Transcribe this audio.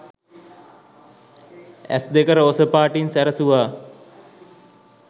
ඇස් දෙක රෝස පාටින් සැරසුවා.